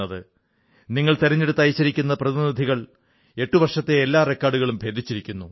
നിങ്ങൾ തിരഞ്ഞെടുത്തയച്ചിരിക്കുന്ന പ്രതിനിധികൾ എട്ടു വർഷത്തെ എല്ലാ റെക്കാഡുകളും ഭേദിച്ചിരിക്കുന്നു